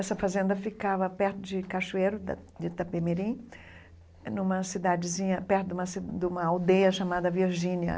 Essa fazenda ficava perto de Cachoeiro, da de Itapemirim, numa cidadezinha perto de uma ci de uma aldeia chamada Virgínia.